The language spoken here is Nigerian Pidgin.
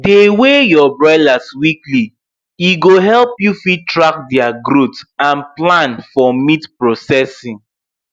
dey weigh your broilers weekly e go help you fit track their growth and plan for meat processing